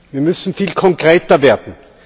Wir müssen viel konkreter werden.